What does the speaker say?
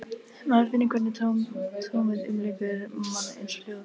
Maður finnur hvernig tómið umlykur mann, eins og hljóð.